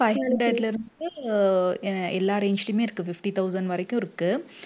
five hundred ல இருந்து uh எல்லா range லயுமே இருக்கு fifty thousand வரைக்கும் இருக்கு